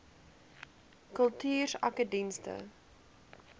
kultuursakedienste